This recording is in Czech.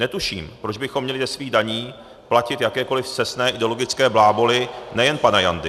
Netuším, proč bychom měli ze svých daní platit jakékoliv scestné ideologické bláboly nejen pana Jandy.